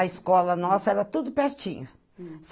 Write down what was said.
A escola nossa era tudo pertinho. Hm